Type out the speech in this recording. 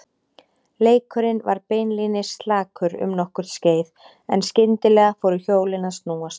Leikurinn var beinlínis slakur um nokkurt skeið en skyndilega fóru hjólin að snúast.